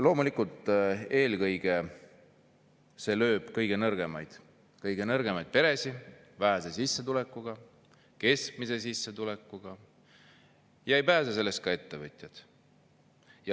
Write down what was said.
Loomulikult lööb see eelkõige kõige nõrgemaid, kõige nõrgemaid peresid, vähese ja keskmise sissetulekuga, ja ei pääse sellest ka ettevõtjad.